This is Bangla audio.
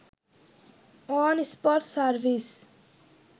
on spot service